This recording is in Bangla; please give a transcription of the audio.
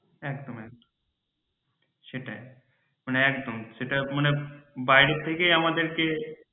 একদম একদম সেটাই মানে একদম সেটাই মানে বাইরে থেকেই আমাদেরকে